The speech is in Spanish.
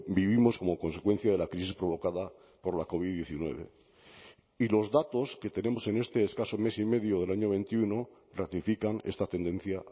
vivimos como consecuencia de la crisis provocada por la covid diecinueve y los datos que tenemos en este escaso mes y medio del año veintiuno ratifican esta tendencia